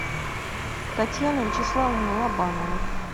татьяну вячеславовну лобанову